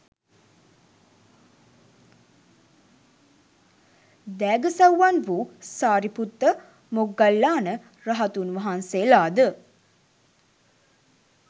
දෑගසව්වන් වූ සාරිපුත්ත, මොග්ගල්ලාන රහතුන් වහන්සේලාද